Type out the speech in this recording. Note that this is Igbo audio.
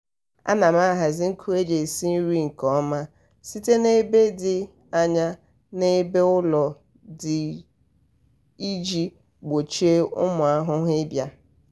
ana m ahazi nkụ e ji esi nri nke ọma site n'ebe dị anya n'ebe ụlọ dị iji gbochie ụmụ ahụhụ ịbịa.